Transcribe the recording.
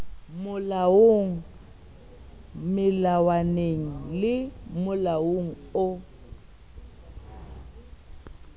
molaong melawaneng le molaong o